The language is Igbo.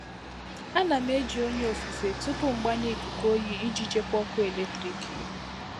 A na m eji onye ofufe tupu mgbanye ikuku oyi iji chekwaa ọkụ eletrik.